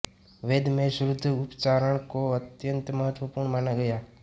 वेद में शुद्ध उच्चारण को अत्यन्त महत्त्वपूर्ण माना गया है